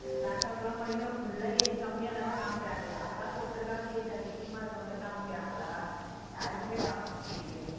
makeup லாம் பண்ணிக்கிட்டு full ஆ age கம்மியாதானே காமிக்கறாங்க யாருக்காவது ஒருத்தருக்காவது age அதிகமா இருக்கற மாதிரி காமிக்கறாங்களா யாருக்குமே காமிக்கலையே